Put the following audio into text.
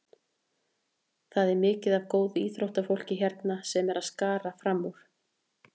Það er mikið af góðu íþróttafólki hérna sem er að skara fram úr.